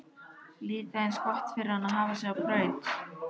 Líka eins gott fyrir hana að hafa sig á braut!